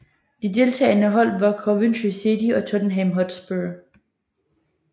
De to deltagende hold var Coventry City og Tottenham Hotspur